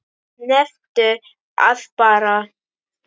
Nefndu það bara!